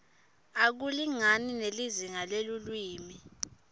akulingani nelizinga lelulwimi